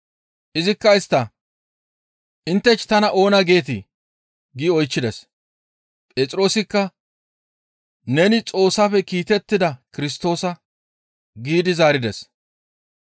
Izikka istta, «Inttech tana oona geetii?» giidi oychchides. Phexroosikka, «Neni Xoossafe kiitettida Kirstoosa» giidi zaarides.